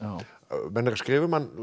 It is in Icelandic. menn eru að skrifa um hann langt